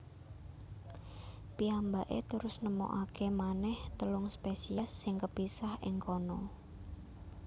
Piyambakè terus nemokakè manèh telung spèsiès sing kepisah ing kana